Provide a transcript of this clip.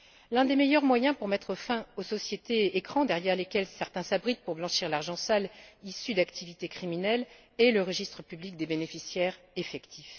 L'un des meilleurs moyens pour mettre fin aux sociétés écrans derrière lesquelles certains s'abritent pour blanchir l'argent sale issu d'activités criminelles est le registre public des bénéficiaires effectifs.